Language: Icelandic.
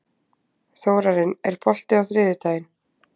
Þórarinn, er bolti á þriðjudaginn?